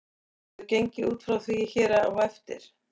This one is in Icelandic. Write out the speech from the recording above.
Verður gengið út frá því hér á eftir.